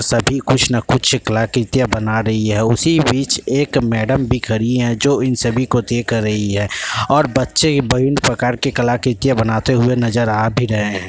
सभी कुछ न कुछ कलाकृतियाँ बना रही है। उसी बीच एक मैडम भी खड़ी है जो इन सभी को देख रही है और बच्चे इ विभिन्न प्रकार की कलाकृतियाँ बनाते नज़र आ भी रहे हैं।